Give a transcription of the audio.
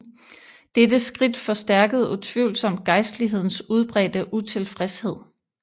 Dette skridt forstærkede utvivlsomt gejstlighedens udbredte utilfredshed